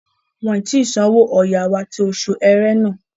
Wọn ǹ tí sanwó ọ̀yà wá ti oṣù ẹrẹ́nà